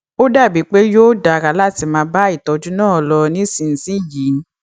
ó dàbí pé yóò dára láti máa bá ìtọjú náà lọ nísinsìnyí